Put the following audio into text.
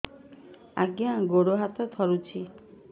ଆଜ୍ଞା ଗୋଡ଼ ହାତ ଥରୁଛି